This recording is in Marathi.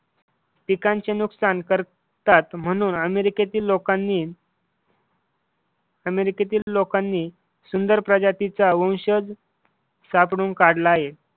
पिकांचे नुकसान करतात म्हणून अमेरिकेतील लोकांनी अमेरिकेतील लोकांनी सुंदर प्रजातीचा वंशज सापडून काढला आहे.